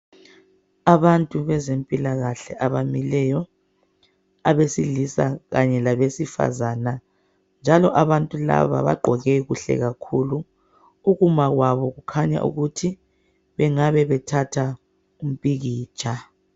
Abantu bezempilakahle abamileyo abesilisa kanye labesifazane njalo abantu laba bagqoke kuhle kakhulu ukuma kwabo kukhanya ukuthi bengabebethatha umpikitsha.